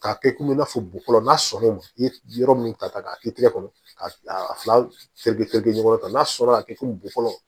K'a kɛ komi i n'a fɔ bukolo n'a sɔnna o ma i ye yɔrɔ min ta k'a kɛ i tɛgɛ kɔnɔ k'a fila bɛɛ kɛ ɲɔgɔn kɔrɔ tan n'a sɔrɔ a bɛ kɛ fo bulɔ